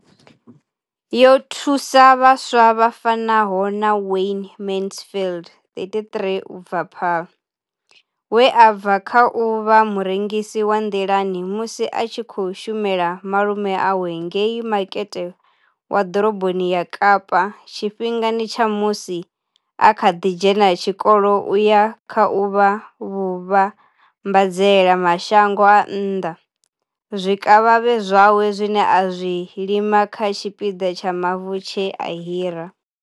Yo thusa vhaswa vha fanaho na Wayne Mansfield, 33, u bva Paarl, we a bva kha u vha murengisi wa nḓilani musi a tshi khou shumela malume awe ngei makete wa ḓoroboni ya Kapa tshifhingani tsha musi a kha ḓi dzhena tshikolo u ya kha u vha muvhambadzela mashango a nnḓa zwikavhavhe zwawe zwine a zwi lima kha tshipiḓa tsha mavu tshe a hira.